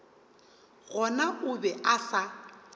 gona o be a sa